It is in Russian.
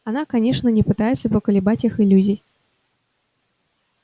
она конечно не пытается поколебать их иллюзий